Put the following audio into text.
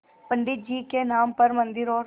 पंडित जी के नाम पर मन्दिर और